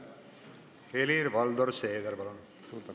Helir-Valdor Seeder, palun!